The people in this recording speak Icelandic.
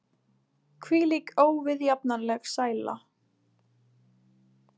Hvílík óviðjafnanleg sæla!